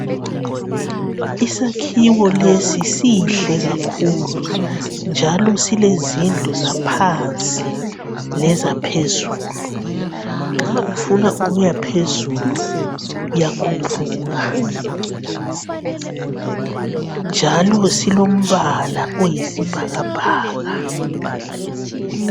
Isakhiwo lesi sihle kakhulu njalo silezindlu zaphansi lezaphezulu. Nxa ufuna ukuyaphezulu uyakhuphuka, njalo silombala oyisibhakabhaka.